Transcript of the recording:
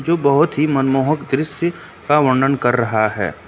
जो बहुत ही मनमोहक दृश्य का वर्णन कर रहा है।